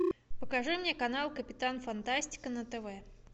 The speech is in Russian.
покажи мне канал капитан фантастика на тв